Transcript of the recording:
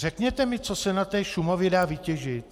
Řekněte mi, co se na té Šumavě dá vytěžit?